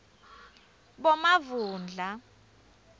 bomavundla